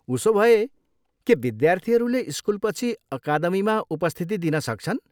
उसोभए, के विद्यार्थीहरूले स्कुलपछि अकादमीमा उपस्थिति दिन सक्छन्?